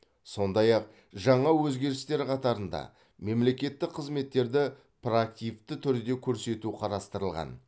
сондай ақ жаңа өзгерістер қатарында мемлекеттік қызметтерді проактивті түрде көрсету қарастырылған